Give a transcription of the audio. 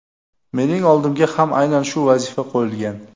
Mening oldimga ham aynan shu vazifa qo‘yilgan.